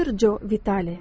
Doktor Joe Vitale.